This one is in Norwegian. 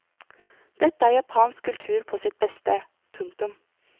Dette er japansk kultur på sitt beste. punktum